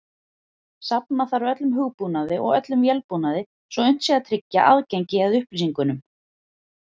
Safna þarf öllum hugbúnaði og öllum vélbúnaði svo unnt sé að tryggja aðgengi að upplýsingunum.